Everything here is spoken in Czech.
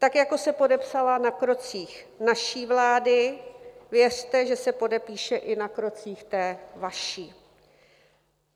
Tak jako se podepsala na krocích naší vlády, věřte, že se podepíše i na krocích té vaší.